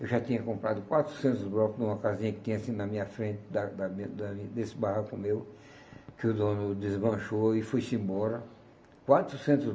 Eu já tinha comprado quatrocentos blocos de uma casinha que tinha assim na minha frente, da da minha da desse barroco meu, que o dono desmanchou e foi-se embora. Quatrocentos